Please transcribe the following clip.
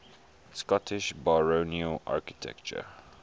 scottish baronial architecture